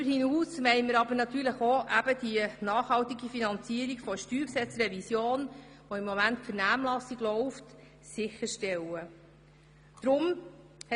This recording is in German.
Darüber hinaus wollen wir auch die nachhaltige Finanzierung der Steuergesetzrevision, die sich zurzeit in der Vernehmlassung befindet, sicherstellen.